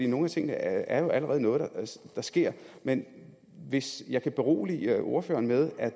nogle af tingene er jo allerede noget der sker men hvis jeg kan berolige ordføreren med at